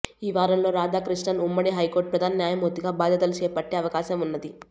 ఈ వారంలో రాధాకృష్ణన్ ఉమ్మడి హైకోర్టు ప్రధాన న్యాయమూర్తిగా బాధ్యతలు చేపట్టే అవకాశం ఉన్నది